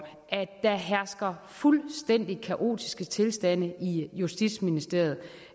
at der hersker fuldstændig kaotiske tilstande i justitsministeriet